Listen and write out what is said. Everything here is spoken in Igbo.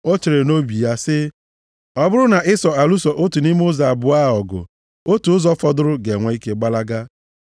O chere nʼobi ya sị, “Ọ bụrụ na Ịsọ alụso otu nʼime ụzọ abụọ a ọgụ, otu ụzọ fọdụrụ ga-enwe ike gbalaga.”